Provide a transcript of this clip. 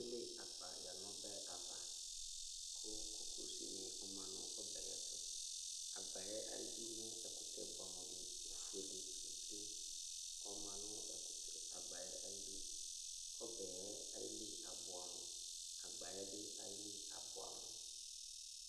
Ekele agba yǝ nʋ ɔbɛ ava kʋ kokosinɩ ɔma nʋ ɔbɛ yɛ tʋ Agba yɛ ayidu mɛ ɛkʋtɛ bʋɛamʋ dɩ kʋ efuele plem-plem ɔma nʋ ɛkʋtɛ agba yɛ ayidu Ɔbɛ yɛ ayili abʋɛamʋ Agba yɛ bɩ ayili abʋɛamʋ